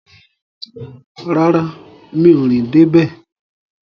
Rárá, mi ò rìn dé bẹ̀